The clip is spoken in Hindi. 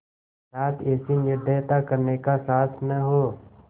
साथ ऐसी निर्दयता करने का साहस न हो